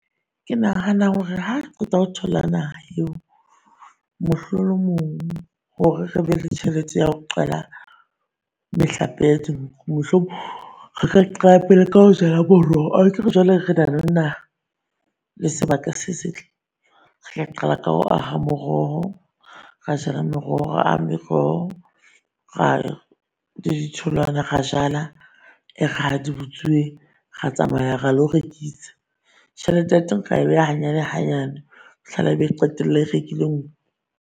Ke nahanang hore ha re qeta ho thola naha eo mohlolomong hore re be le tjhelete ya ho qala mehlape ya dinku. Re ka qala pele ka ho jala moroho akere jwale re na le naha le sebaka se setle. Re tla qala ka ho aha moroho, ra jala meroho ra aha meroho, ra le di tholwana, ra jala. E re ha di butsuwe, re tsamaya ra lo rekisa tjhelete ya teng re e beha hanyane hanyane fihlela e be e qetella e rekile nku.